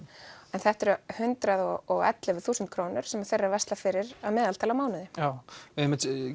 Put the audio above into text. en þetta eru hundrað og ellefu þúsund krónur sem þeir eru að versla fyrir að meðaltali á mánuði við